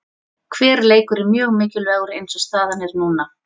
Hver leikur er mjög mikilvægur eins og staðan er núna.